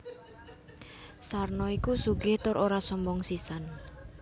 Sarno iku sugih tur ora sombong sisan